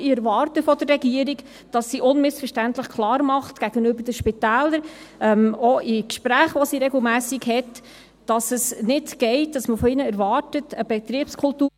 Ich erwarte von der Regierung, dass sie gegenüber den Spitälern unmissverständlich klarmacht – auch in Gesprächen, die sie regelmässig hat –, dass es nicht geht, dass man von ihnen erwartet, eine Betriebskultur …